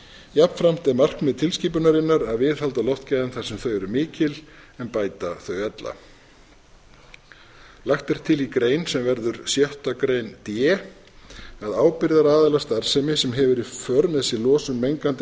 jafnframt er markmið tilskipunarinnar að viðhalda loftgæðum þar sem þau eru mikil en bæta þau ella lagt er til í grein sem verður sjötta grein d að ábyrgðaraðilar starfsemi sem hefur í för með sér losun mengandi